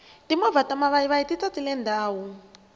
timovha ta mavayivayi ti tatile ndhawu